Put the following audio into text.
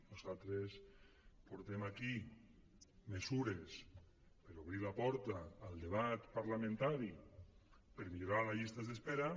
nosaltres portem aquí mesures per obrir la porta al debat parlamentari per millorar les llistes d’espera